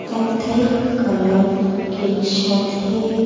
कत्थई कलर की छत है।